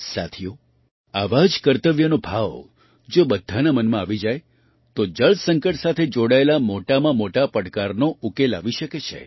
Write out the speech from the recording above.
સાથીઓ આવા જ કર્તવ્યનો ભાવ જો બધાના મનમાં આવી જાય તો જળ સંકટ સાથે જોડાયેલા મોટામાં મોટા પડકારનો ઉકેલ આવી શકે છે